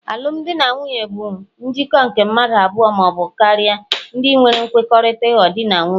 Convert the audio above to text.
alụmdi na nwunye bụ njikọ nke mmadụ abụọ ma ọ bụ karịa, ndinwere nkwekọrịta ịghọ Di na nwunye